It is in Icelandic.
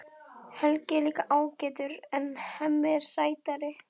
Helgi er líka ágætur en Hemmi er sætari.